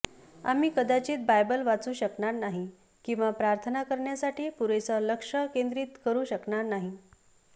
आम्ही कदाचित बायबल वाचू शकणार नाही किंवा प्रार्थना करण्यासाठी पुरेसा लक्ष केंद्रित करू शकणार नाही